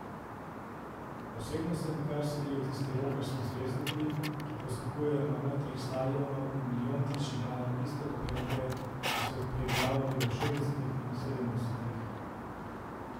Osebno se mi kar smilijo tisti rokerski zvezdniki, ki poskakujejo na odrih stadionov in milijontič igrajo iste popevke, ki so jih preigravali v šestdesetih in sedemdesetih.